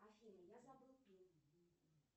афина я забыл пин